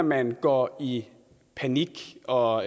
man går i panik og